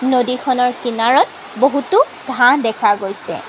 নদীখনৰ কিনাৰত বহুতো ঘাঁহ দেখা গৈছে।